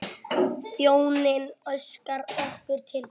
Þjónninn óskar okkur til hamingju.